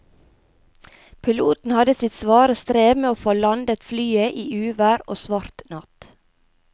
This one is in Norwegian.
Piloten hadde sitt svare strev med å få landet flyet i uvær og svart natt.